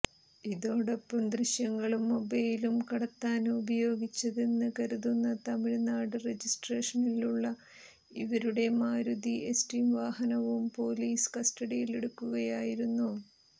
ഇതോടൊപ്പം ദൃശ്യങ്ങളും മൊബൈലും കടത്താന് ഉപയോഗിച്ചതെന്ന് കരുതുന്ന തമിഴ് നാട് രജിസ്ട്രേഷനിലുള്ള ഇവരുടെ മാരുതി എസ്റ്റീം വാഹനവും പൊലീസ് കസ്റ്റഡിയിലെടുക്കുകയായിരുന്നു